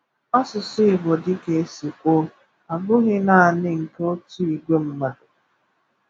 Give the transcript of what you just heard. Asụsụ Igbo, dịka e si kwuo, abụghị naanị nke otu ìgwé mmadụ.